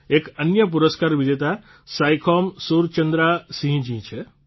એક અન્ય પુરસ્કાર વિજેતા સાઇખૌમ સુરચંદ્રા સિંહજી છે